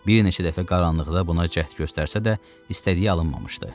Bir neçə dəfə qaranlıqda buna cəhd göstərsə də, istədiyi alınmamışdı.